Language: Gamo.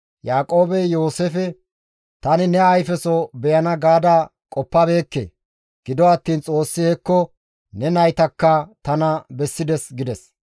Yaaqoobey Yooseefe, «Tani ne ayfeso beyana gaada qoppabeekke; gido attiin Xoossi hekko ne naytakka tana bessides» gides.